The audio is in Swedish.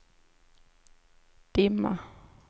dimma